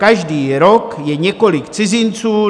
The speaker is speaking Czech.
Každý rok je několik cizinců.